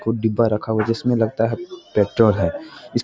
कुछ डिब्बा रखा हुआ है जिसमें लगता है पेट्रोल है इस --